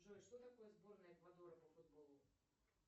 джой что такое сборная эквадора по футболу